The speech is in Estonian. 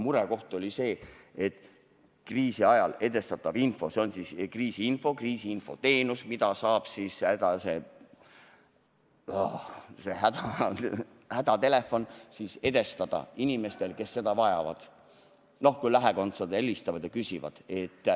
Murekoht oli kriisiajal edastatav info ehk kriisiinfo ja kriisiinfo teenus ehk hädaabitelefoni teel info edastamine inimestele, kes seda vajavad – noh, et kui lähikondsed helistavad ja küsivad.